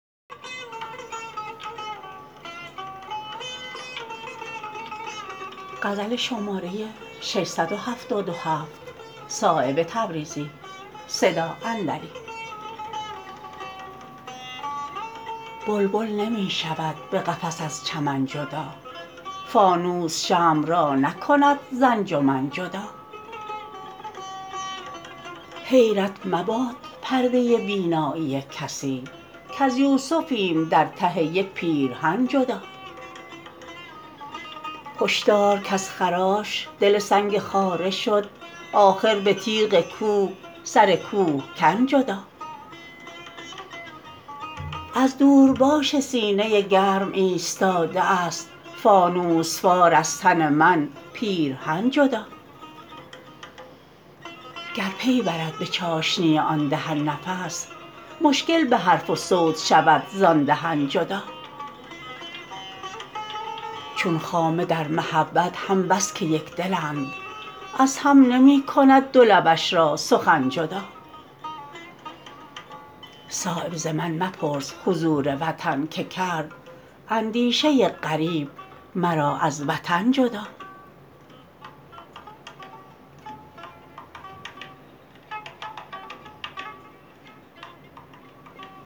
بلبل نمی شود به قفس از چمن جدا فانوس شمع را نکند ز انجمن جدا حیرت مباد پرده بینایی کسی کز یوسفیم در ته یک پیرهن جدا هشدار کز خراش دل سنگ خاره شد آخر به تیغ کوه سر کوهکن جدا از دورباش سینه گرم ایستاده است فانوس وار از تن من پیرهن جدا گر پی برد به چاشنی آن دهن نفس مشکل به حرف و صوت شود زان دهن جدا چون خامه در محبت هم بس که یکدلند از هم نمی کند دو لبش را سخن جدا صایب ز من مپرس حضور وطن که کرد اندیشه غریب مرا از وطن جدا